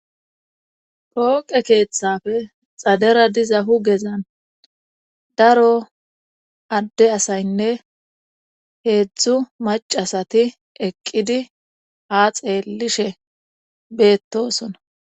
pooqe keeththafe xadera diza hugezan daro adde asaynne heedzdzu macasati eqqidi ha xeellishe beettosona